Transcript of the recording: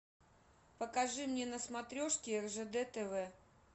покажи мне на смотрешке ржд тв